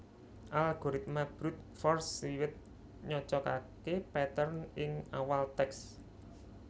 Algoritma brute force wiwit nyocokaké pattern ing awal tèks